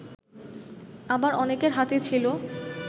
আবার অনেকের হাতে ছিল